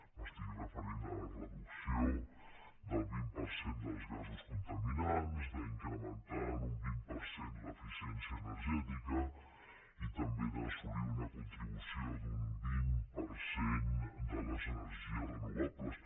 m’estic referint a la reducció del vint per cent dels gasos contaminants a incrementar en un vint per cent l’eficiència energètica i també a assolir una contribució del vint per cent de les energies renovables